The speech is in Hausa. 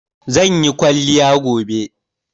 Zan yi kwaliya gobe